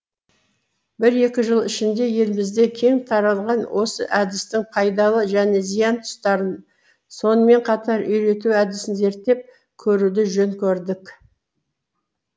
бір екі жыл ішінде елімізде кең таралған осы әдістің пайдалы және зиян тұстарын сонымен қатар үйрету әдісін зерттеп көруді жөн көрдік